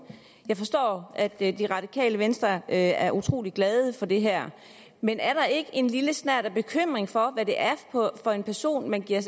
jeg forstår at det radikale venstre er er utrolig glad for det her men er der ikke en lille snert af bekymring for hvad det er for en person man giver